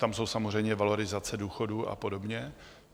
Tam jsou samozřejmě valorizace důchodů a podobně.